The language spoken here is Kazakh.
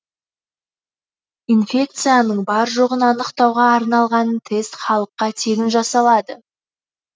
инфекцияның бар жоғын анықтауға арналған тест халыққа тегін жасалады